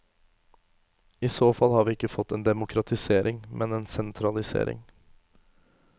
I så fall har vi ikke fått en demokratisering, men en sentralisering.